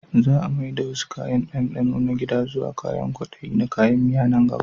Za a mai da wasu kayan dandano na gida zuwa kwadaye na kayan miya a nan gaba